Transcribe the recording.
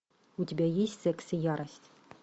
у тебя есть секс и ярость